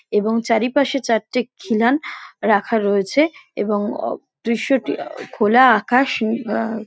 এবং চারিপাশে চারটি খিলান রাখা রয়েছে | এবং অ দৃশ্যটি খোলা আকাশ আ--